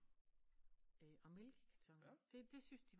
Og mælkekartoner det det syntes de